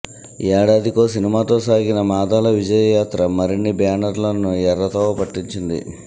ఏడాదికో సినిమాతో సాగిన మాదాల విజయయాత్ర మరిన్ని బ్యానర్లను ఎర్ర తోవ పట్టించింది